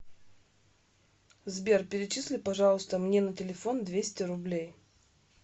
сбер перечисли пожалуйста мне на телефон двести рублей